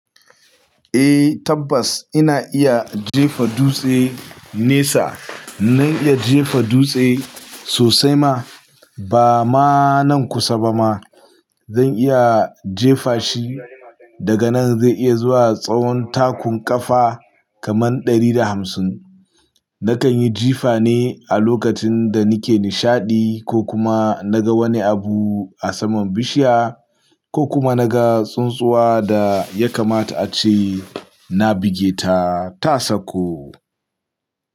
Eh tabbas ina iya jefa dutse nesa. Zan iya jefa dutse sosai ma, ba ma nan kusa ba ma. Zan iya jefa shi. Daga nan zai iya zuwa tsawon takun ƙafa kaman ɗari da hamsin. Nakan yi jifa ne a lokacin da nike nishaɗi ko kuma naga wani abu a saman bishiya. Ko kuma naga tsuntsuwa da yakamata ace. Na buge ta, ta sakko.